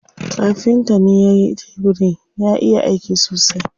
Kafintan ne yayi tebirin, ya iya aiki sosai.